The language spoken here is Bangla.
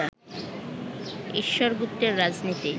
ঈশ্বর গুপ্তের রাজনীতি